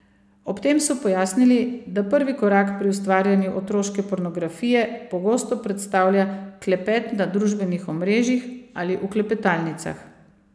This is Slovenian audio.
Ob tem so pojasnili, da prvi korak pri ustvarjanju otroške pornografije pogosto predstavlja klepet na družbenih omrežjih ali v klepetalnicah.